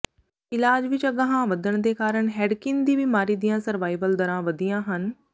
ਇਲਾਜ ਵਿੱਚ ਅਗਾਂਹ ਵਧਣ ਦੇ ਕਾਰਨ ਹੈਡਕਿਨ ਦੀ ਬਿਮਾਰੀ ਦੀਆਂ ਸਰਵਾਈਵਲ ਦਰਾਂ ਵਧੀਆ ਹਨ